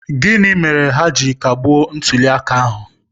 Gịnị mere ha ji kagbuo ntuli aka ahụ?